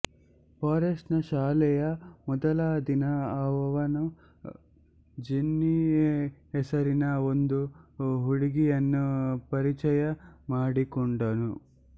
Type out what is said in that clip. forest ನ ಶಾಲೆಯ ಮೊದಲ ದಿನ ಅವನು ಜೆನ್ನಿ ಹೆಸರಿನ ಒಂದು ಹುಡುಗಿಯನ್ನು ಪರಿಚಯ ಮಾಡಿಕೊಂಡನು